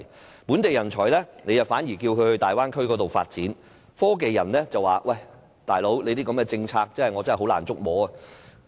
對於本地人才，政府反而鼓勵他們前往大灣區發展，科技人才卻認為，這樣的政策實在難以捉摸。